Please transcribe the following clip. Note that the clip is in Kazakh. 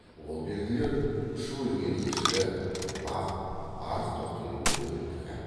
ол белгілер ұшып өлген ешкі лақ арық тоқтының өлімтігі